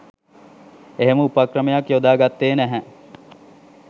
එහෙම උපක්‍රමයක් යොදා ගත්තේ නැහැ